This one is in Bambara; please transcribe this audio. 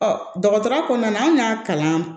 dɔgɔtɔrɔ kɔnɔna an ka kalan